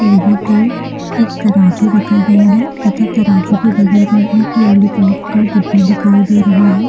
यहाँ पर एक तराजू रखा गया है तथा तराजू का बगल में एक लॉलीपॉप का डिब्बा दिखाई दे रहा है।